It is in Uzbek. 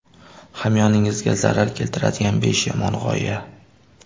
Hamyoningizga zarar keltiradigan besh yomon g‘oya.